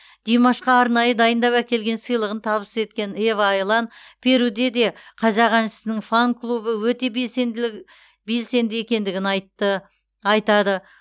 димашқа арнайы дайындап әкелген сыйлығын табыс еткен ева айлан перуде де қазақ әншісінің фан клубы өте белсендігі екендігін айтады